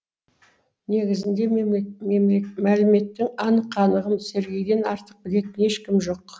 негізінде мәліметтің анық қанығын сергейден артық білетін ешкім жоқ